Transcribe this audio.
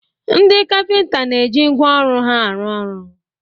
Ndị kapịnta na-eji ngwá ọrụ ha arụ ọrụ.